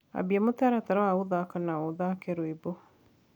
ambĩa mũtaratara wa guthaka na ũthake rwĩmbo